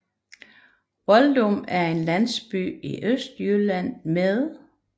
Voldum er en landsby i Østjylland med